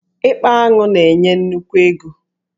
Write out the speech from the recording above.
Ịkpa aṅụ na-enye nnukwu ego.